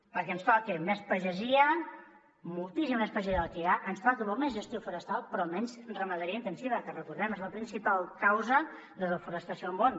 perquè ens toca més pagesia moltíssima més pagesia de la que hi ha ens toca molta més gestió forestal però menys ramaderia intensiva que recordem ho és la principal causa de desforestació al món